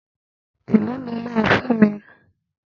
E lọ ni ó ma fún mi?